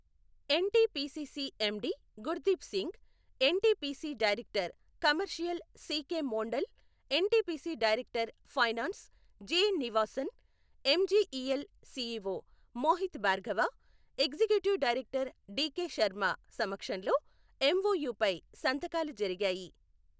NTPC CMD Gurdeep Singh, NTPC director commercial CK Mondal, NTPC director finance J Nivasan, MGEL CEO Mohit Bhargava, executive director DK Sharma సమక్షంలో ఎంఒయుపై సంతకాలు జరిగాయి.